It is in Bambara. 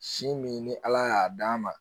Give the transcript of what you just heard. Si min ni ala y'a d'an ma